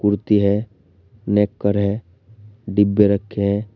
कुर्ती है नेक्कर है डिब्बे रखे है।